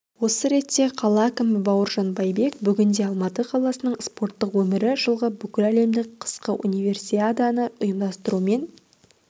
осы ретте қала әкімі бауыржан байбек бүгінде алматы қаласының спорттық өмірі жылғы бүкіләлемдік қысқы универсиаданы ұйымдастырумен